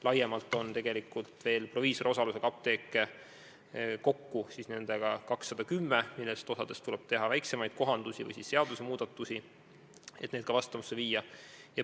Laiemalt vaadates on meil tegelikult veel ka proviisori osalusega apteeke – eelmistega kokku 210 –, millest osas tuleb teha väiksemaid kohandusi või muudatusi, et needki seadustega vastavusse viia.